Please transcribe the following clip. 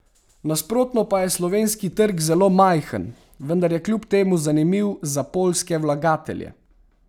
Nasprotno pa je slovenski trg zelo majhen, vendar je kljub temu zanimiv za poljske vlagatelje.